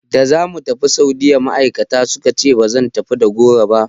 Da za mu tafi Saudiyya ma'aikata suka ce ba zan tafi da goro ba.